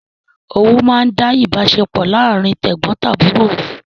Owú máa ń da ìbáṣepọ̀ láàrín tẹ̀gbọntàbúrò rú